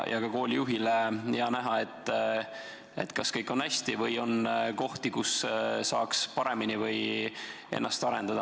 Ka koolijuhil on hea näha, kas kõik on hästi või on kohti, kus saaks paremini või kus tuleks ennast arendada.